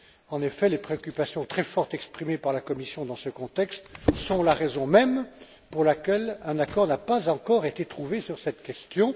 En effet, les préoccupations très fortes exprimées par la Commission dans ce contexte sont la raison même pour laquelle un accord n'a pas encore été trouvé sur cette question.